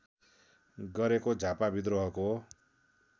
गरेको झापा व्रिद्रोहको